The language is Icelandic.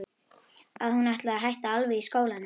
Að hún ætlaði að hætta alveg í skólanum.